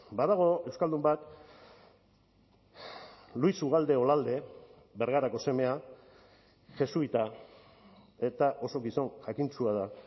badago euskaldun bat luis ugalde olalde bergarako semea jesuita eta oso gizon jakintsua da